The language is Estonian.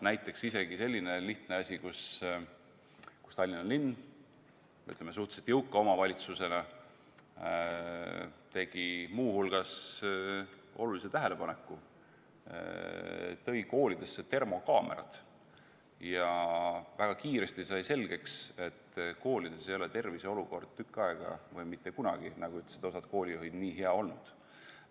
Näiteks, isegi selline lihtne asi, kus Tallinna linn suhteliselt jõuka omavalitsusena tegi muu hulgas olulise tähelepaneku: tõi koolidesse termokaamerad ja väga kiiresti sai selgeks, et koolides ei ole tervise olukord tükk aega või mitte kunagi, nagu ütlesid osad koolijuhid, nii hea olnud.